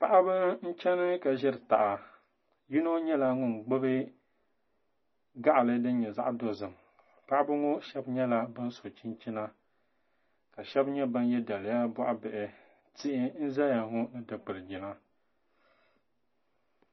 Paɣaba n chɛni ka ʒiri taha yino nyɛla ŋun gbubi gaɣali din nyɛ zaɣ dozim paɣaba ŋo shab nyɛla bin so chinchina ka shab nyɛ ban yɛ daliya boɣa bihi tihi n ʒɛya ŋo ni dikili jina